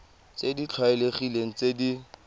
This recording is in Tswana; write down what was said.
tse di tlwaelegileng tse di